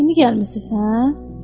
İndi gəlmisiniz, hə?